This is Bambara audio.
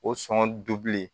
O sɔn dulen